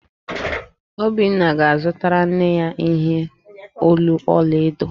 Obinna ga-azụtara nne ya ihe olu ọla edo